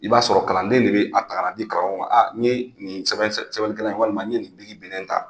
I b'a sɔrɔ kalanden de bɛ a ta ka n'a di karamɔgɔ ma a n ye nin sɛbɛnnikɛlan in walima ye nin binnen ta.